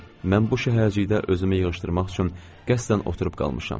Mən bu şəhərcikdə özümü yığışdırmaq üçün qəsdən oturub qalmışam.